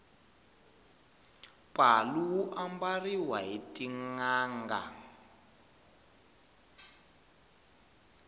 palu wu ambariwa hi tinanga